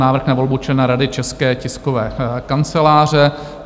Návrh na volbu člena Rady České tiskové kanceláře